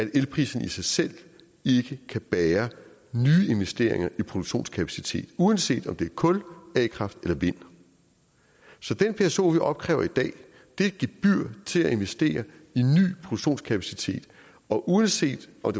at elprisen i sig selv ikke kan bære nye investeringer i produktionskapacitet uanset om det er kul a kraft eller vind så den pso vi opkræver i dag er et gebyr til at investere i ny produktionskapacitet og uanset om